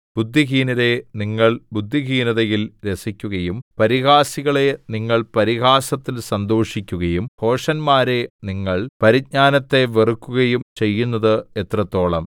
ബുദ്ധിഹീനരേ നിങ്ങൾ ബുദ്ധീഹിനതയിൽ രസിക്കുകയും പരിഹാസികളേ നിങ്ങൾ പരിഹാസത്തിൽ സന്തോഷിക്കുകയും ഭോഷന്മാരേ നിങ്ങൾ പരിജ്ഞാനത്തെ വെറുക്കുകയും ചെയ്യുന്നത് എത്രത്തോളം